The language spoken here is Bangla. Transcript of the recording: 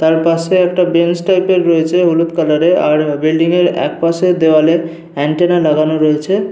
তার পাশে একটা বেঞ্চ টাইপের রয়েছে হলুদ কালারে আর বিল্ডিং -এর একপাশের দেয়ালে অ্যান্টেনা লাগানো রয়েছে।